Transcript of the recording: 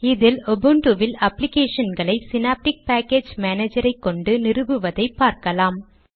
இதில் உபுன்டுவில் அப்ளிகேஷன்களை ஸினாப்டிக் பாக்கேஜ் மானேஜரை கொண்டு நிறுவுவதை பார்க்கலாம்